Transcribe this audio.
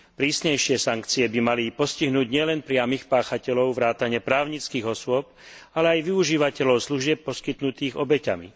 Prísnejšie sankcie by mali postihnúť nielen priamych páchateľov vrátane právnických osôb, ale aj využívateľov služieb poskytnutých obeťami.